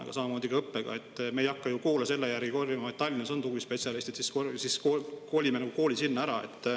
Aga samamoodi on õppega: me ei hakka ju koole selle järgi kolima, et kui Tallinnas on tugispetsialistid, siis kolime kooli sinna ära.